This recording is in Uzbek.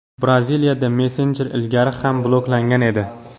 Braziliyada messenjer ilgari ham bloklangan edi .